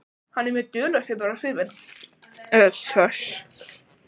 Hann er mjög dularfullur á svip.